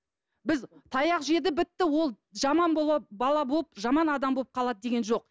біз таяқ жеді бітті ол жаман бала болып жаман адам болып қалады деген жоқ